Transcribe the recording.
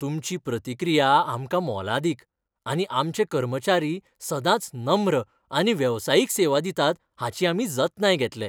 तुमची प्रतिक्रिया आमकां मोलादीक आनी आमचे कर्मचारी सदांच नम्र आनी वेवसायीक सेवा दितात हाची आमी जतनाय घेतले.